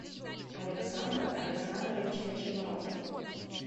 александр александрович ночевалов